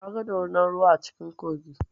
Na ga dorunar ruwa a cikin kogi.